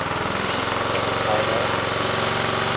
leaps episodal upheavals